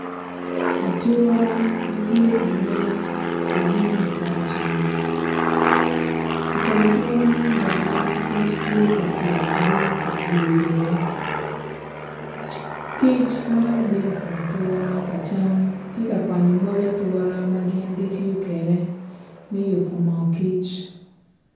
Atura ma tye ka nen ki tung kupoto ceng i kom atura man bene kic tye ka tuk bino ka pye iye kic maro bino i kom atura ka cam ki ka kwanyo moc atura ma gin gitiyo kwede me yubo moo kic.